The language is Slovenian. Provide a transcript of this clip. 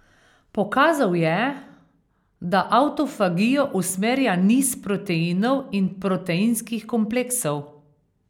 Pokazal je, da avtofagijo usmerja niz proteinov in proteinskih kompleksov.